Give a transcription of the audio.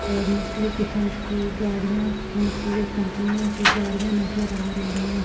और की गाड़ियां कंपनियों की गाड़ियां नजर आ रही हैं।